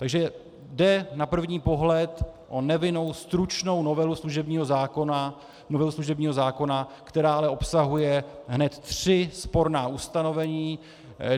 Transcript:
Takže jde na první pohled o nevinnou, stručnou novelu služebního zákona, která ale obsahuje hned tři sporná ustanovení.